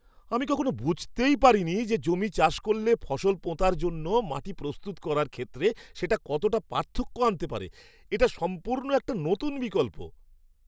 আমি কখনও বুঝতেই পারিনি যে জমি চাষ করলে ফসল পোঁতার জন্য মাটি প্রস্তুত করার ক্ষেত্রে সেটা কতটা পার্থক্য আনতে পারে; এটা সম্পূর্ণ একটা নতুন বিকল্প!